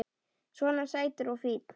Svona sætur og fínn!